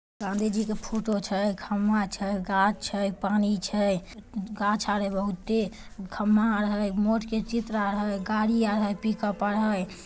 गाँधी जी का फोटो छे खम्बा छे गाछ छे पानी छे गाछ आ रहे है बहुते खम्बा गाड़ी आ रह है पिक-अप आ रहा है।